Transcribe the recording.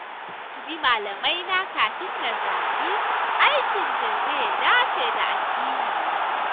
Na tuntuɓi malamaina kafin na zaɓi aikin da zai dace da addinina